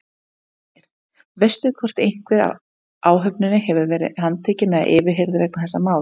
Ásgeir: Veistu hvort einhver af áhöfninni hefur verið handtekinn eða yfirheyrður vegna þessa máls?